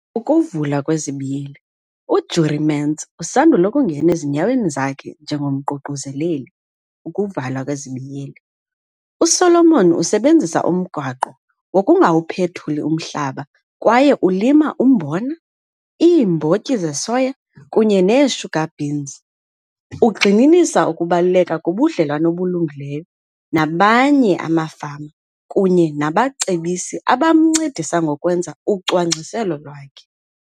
UJurie Mentz usandul' ukungena ezinyaweni zakhe njengomququzeleli. USolomon usebenzisa umgaqo wokungawuphethuli umhlaba kwaye ulima umbona, iimbotyi zesoya kunye neesugar beans. Ugxininisa ukubaluleka kobudlelwane obulungileyo namanye amafama kunye nabacebisi abamncedisa ngokwenza ucwangciselo lwakhe.